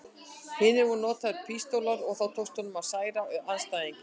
hinu voru notaðar pístólur og þá tókst honum að særa andstæðinginn.